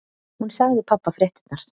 Hún sagði pabba fréttirnar.